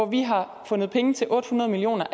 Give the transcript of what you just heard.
vi har fundet penge til otte hundrede million